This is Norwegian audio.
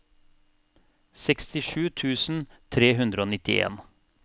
sekstisju tusen tre hundre og nittien